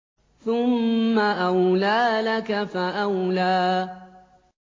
ثُمَّ أَوْلَىٰ لَكَ فَأَوْلَىٰ